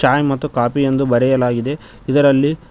ಛಾಯ್ ಮತ್ತು ಕಾಫಿ ಎಂದು ಬರೆಯಲಾಗಿದೆ ಇದರಲ್ಲಿ--